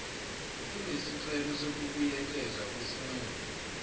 kunesicelo sokubuyekezwa kwesinqumo